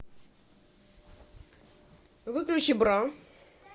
выключи бра